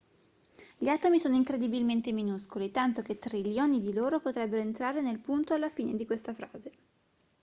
gli atomi sono incredibilmente minuscoli tanto che trilioni di loro potrebbero entrare nel punto alla fine di questa frase